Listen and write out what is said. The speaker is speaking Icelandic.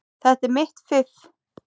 Þetta er mitt fiff.